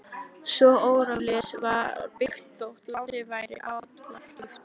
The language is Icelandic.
Svo óríflega var byggt, þótt lánið væri allríflegt.